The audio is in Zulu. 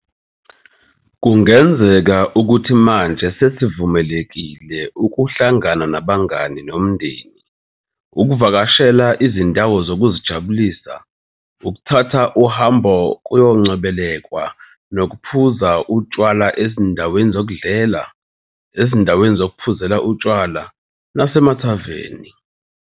Kungenzeka ukuthi manje sesivumelekile ukuhlangana nabangani nomndeni, ukuvakashela izindawo zokuzijabulisa, ukuthatha uhambo kuyoncebelekwa nokuphuza utshwala ezindaweni zokudlela, ezindaweni zokuphuzela utshwala nasemathaveni.